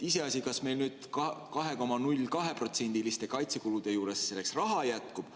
Iseasi, kas meil nüüd 2,02%‑liste kaitsekulude juures selleks raha jätkub.